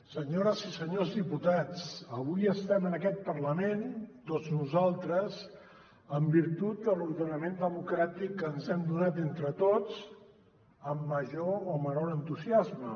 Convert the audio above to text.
senyores i senyors diputats avui estem en aquest parlament tots nosaltres en virtut de l’ordenament democràtic que ens hem donat entre tots en major o menor entusiasme